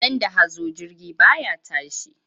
Idan da hazo jirgi ba ya tashi.